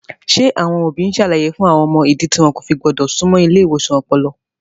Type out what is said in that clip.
Ṣé àwọn òbí ń ṣàlàyé fún àwọn ọmọ ìdí tí wọn kò fi gbọ́dọ̀ súnmọ́ ilé ìwòsàn ọpọlọ?